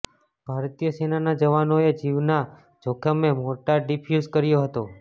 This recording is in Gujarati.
ભારતીય સેનાના જવાનોએ જીવના જોખમે મોર્ટાર ડિફ્યૂઝ કર્યો હતો